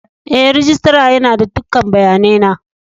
E, rijistira yana da dukan bayanai na.